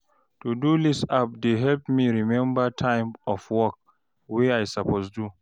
To-do list app dey help me remember time of work wey I suppose do.